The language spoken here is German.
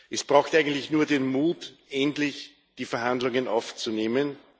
Es braucht eigentlich nur den Mut, endlich die Verhandlungen aufzunehmen.